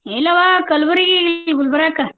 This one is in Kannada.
ಇಲ್ಲವ್ವ ಕಲಬುರ್ಗಿ ಇಲ್ಲ ಗುಲ್ಬರ್ಗಕ್ಕ.